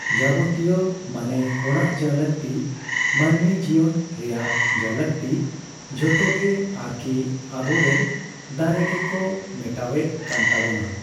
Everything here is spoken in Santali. ᱡᱟᱵᱚᱛᱤᱭᱚ ᱢᱟᱱᱮ ᱦᱚᱲᱟᱜ ᱡᱟ ᱞᱟᱠᱛᱤ ᱢᱟᱹᱱᱢᱤ ᱡᱤᱭᱚᱱ ᱨᱮᱭᱟᱜ ᱡᱟ ᱞᱟᱠᱛᱤ ᱡᱷᱚᱛᱜᱮ ᱟᱨᱠᱤ ᱟᱵᱚᱨᱮᱱ ᱫᱟᱨᱮ ᱜᱮᱠᱚ ᱢᱮᱴᱟᱣᱭᱮᱫ ᱠᱟᱱ ᱛᱟᱵᱚᱱᱟ ᱾